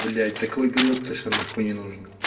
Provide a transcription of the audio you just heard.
блять такой период н не нужен